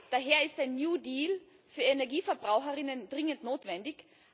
Daher ist ein New Deal für EnergieverbraucherInnen dringend notwendig.